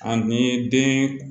Ani den